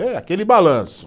É aquele balanço.